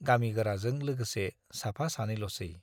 गामि गोराजों लोगोसे साफा सानैल'सै।